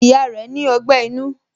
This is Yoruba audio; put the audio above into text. Ìyá rẹ ni ogbẹ́ inú